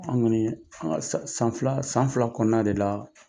An kɔni an ka san fila san fila kɔnɔna de la